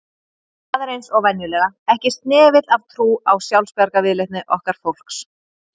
Það er eins og venjulega, ekki snefill af trú á sjálfsbjargarviðleitni okkar fólks